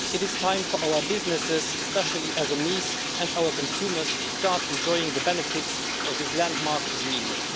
It is time for our businesses, especially SMEs, and our consumers to start enjoying the benefits of this landmark agreement.